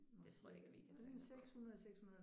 Det tror jeg ikke at vi kan tage